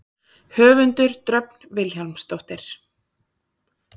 Höfundur: Dröfn Vilhjálmsdóttir.